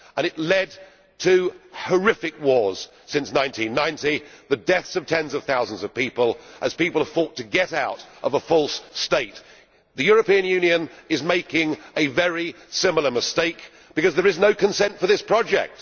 It led to horrific wars from 1990 and the deaths of tens of thousands of people, as they fought to get out of a false state. The European Union is making a very similar mistake, because there is no consent for this project.